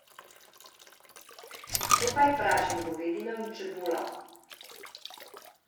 Skupaj pražim govedino in čebulo.